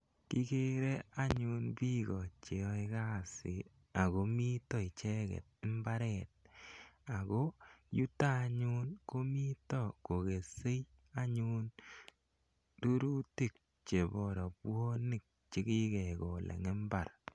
Kikere anyun piko che yae kasit ako mita icheget mbaret ako yuto anyun ko mita kokese anyun rurutik chepo rapwanik che kikekol eng' imbar.